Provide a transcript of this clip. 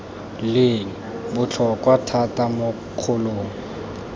leng botlhokwa thata mo kgolong